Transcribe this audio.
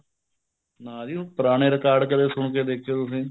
ਨਾ ਜੀ ਪੁਰਾਣੇ record ਕਦੇ ਸੁਣ ਦੇਖੋ ਤੁਸੀਂ